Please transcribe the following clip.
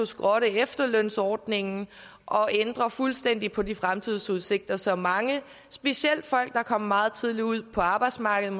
skrotte efterlønsordningen og fuldstændig ændre på de fremtidsudsigter som mange specielt folk der er kommet meget tidligt ud på arbejdsmarkedet